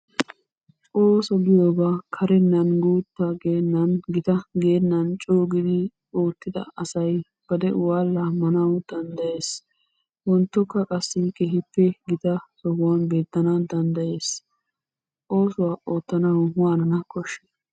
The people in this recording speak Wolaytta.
Ooso giyoba karennan guutta geennan gita geennan coogidi oottida asay ba de'uwa laammanawu danddayes. Wonttokka qassi keehippe gita sohuwan oottana danddayees. Oosuwa oottanawu waanana koshshiii?